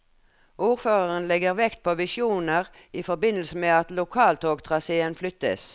Ordføreren legger vekt på visjoner i forbindelse med at lokaltogtraséen flyttes.